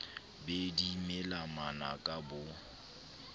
be di mela manaka bo